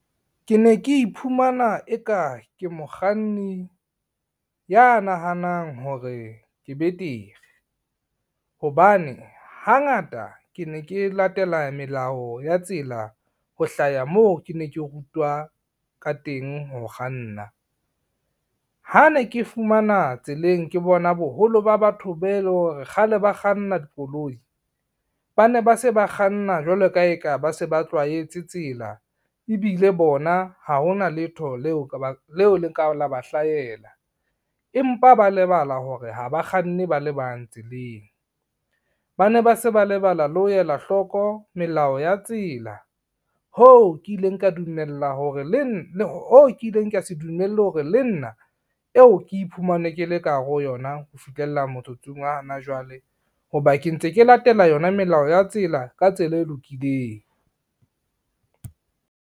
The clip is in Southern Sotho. Ke ne ke iphumana eka ke mokganni, ya nahanang hore ke betere. Hobane hangata ke ne ke latela melao ya tsela ho hlaya moo ke ne ke rutwa ka teng ho kganna. Ha ne ke fumana tseleng ke bona boholo ba batho be leng hore kgale ba kganna dikoloi, ba ne ba se ba kganna jwalo ka ha e ka ba se ba tlwaetse tsela ebile bona ha hona letho leo le ka la ba hlahela, empa ba lebala hore ho bakganne ba le bang tseleng. Ba ne ba se ba lebala le ho ela hloko melao ya tsela, hoo ke ileng ka se dumelle hore le nna eo ke iphumane ke le ka hare ho yona, ho fihlella motsotsong wa hona jwale ho ba ke ntse ke latela yona melao ya tsela ka tsela e lokileng.